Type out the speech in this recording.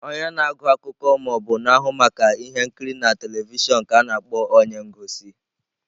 Onye na-agụ akụkọ ma ọ bụ na-ahụ maka ihe nkiri na telivishọn ka a na-akpọ onye ngosi.